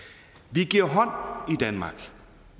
vi giver hånd i danmark